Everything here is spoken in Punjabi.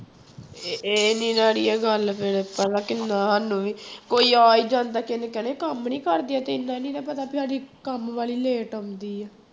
ਇ ਇਹ ਨੀ ਨਾ ਆੜੀਏ ਗੱਲ ਫਿਰ ਪਹਿਲਾਂ ਕਿੰਨਾ ਸਾਨੂੰ ਵੀ ਕੋਈ ਆ ਹੀ ਜਾਂਦਾ ਕਿਸੇ ਨੇ ਕਹਿਣਾ ਕੰਮ ਨੀ ਕਰਦੀਆਂ ਤੇ ਇੰਨਾ ਨੀ ਨਾ ਪਤਾ ਵੀ ਆੜੀਏ ਕੰਮ ਵਾਲੀ late ਆਉਂਦੀ ਹੈ